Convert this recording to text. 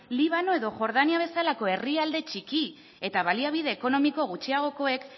libano edo jordania bezalako herrialde txiki eta baliabide ekonomiko gutxiagokoek